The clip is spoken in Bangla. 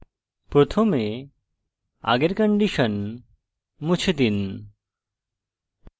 প্রথমে আগের condition মুছে দিন